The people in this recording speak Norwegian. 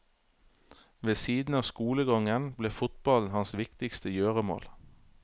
Ved siden av skolegangen ble fotballen hans viktigste gjøremål.